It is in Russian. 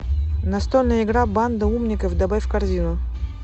настольная игра банда умников добавь в корзину